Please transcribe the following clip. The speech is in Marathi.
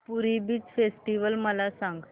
पुरी बीच फेस्टिवल मला सांग